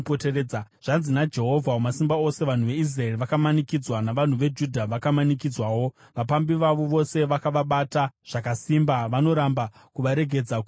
Zvanzi naJehovha Wamasimba Ose: “Vanhu veIsraeri vakamanikidzwa, navanhu veJudha vakamanikidzwawo, vapambi vavo vose vakavabata, zvakasimba, vanoramba kuvaregedza kuti vaende.